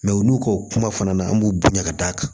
olu ko kuma fana na an b'u bonya ka d'a kan